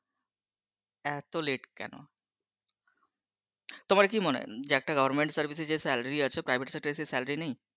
এত late কেন? তোমার কি মনে হয় যে একটা government চাকরি তে যে বেতন আছে private sector সেই বেতন নেই?